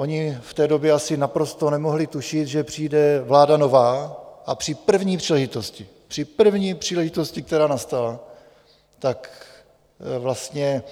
Oni v té době asi naprosto nemohli tušit, že přijde vláda nová a při první příležitosti, při první příležitosti, která nastala, tak vlastně